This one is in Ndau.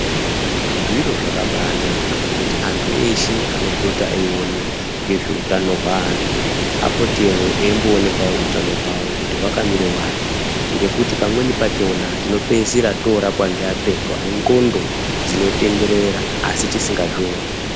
Zviro zvakabaanaka kuti antu anoone ngezvehutano hweantu apotewo eimboonekwawo hutano hwawo kuti hwakamira wani ngekti pamweni pakona tinopeisira torwapa ngeapengo anenxondo dzinotenderera asi tisingazvioni.